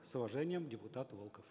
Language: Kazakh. с уважением депутат волков